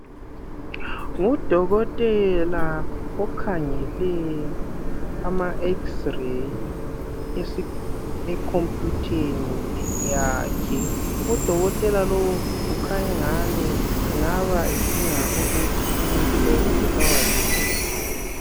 Ngudokotela okhangele ama"X-Ray" ekhompiyutheni yakhe. Udokotela lowu ukhanya engani engaba edinga ukuthi umuntu lowu ubulawa yini.